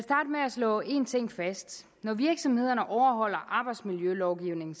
slå en ting fast når virksomhederne overholder arbejdsmiljølovgivningen